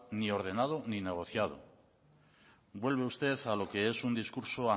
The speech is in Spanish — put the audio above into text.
ni ordenado ni negociado vuelve usted a lo que es un discurso